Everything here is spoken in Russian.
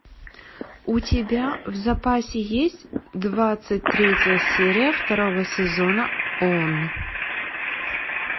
у тебя в запасе есть двадцать третья серия второго сезона он